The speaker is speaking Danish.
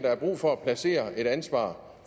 brug for at placere et ansvar